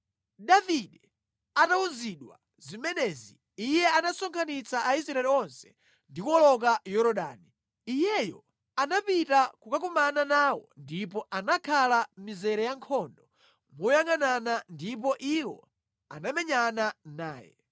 Davide atawuzidwa zimenezi, iye anasonkhanitsa Aisraeli onse ndi kuwoloka Yorodani. Iyeyo anapita kukakumana nawo ndipo anakhala mʼmizere yankhondo moyangʼanana ndipo iwo anamenyana naye.